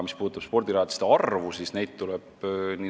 Mis puudutab spordirajatiste arvu, siis neid tuleb juurde.